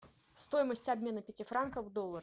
стоимость обмена пяти франков в доллары